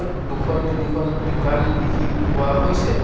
য়াত দুখন-তিনিখন দোকান দেখি পোৱা হৈছে।